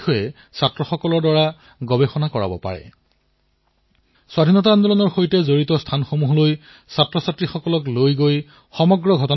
ইয়াক বিদ্যালয়ৰ হস্তলিখিত অংকৰ ৰূপত প্ৰস্তুত কৰিব পাৰি আৰু নিজৰ চহৰত স্বতন্ত্ৰতা আন্দোলনৰ সৈতে জড়িত আন স্থানসমূহলৈও শিক্ষাৰ্থীসকলক লৈ যাব পাৰি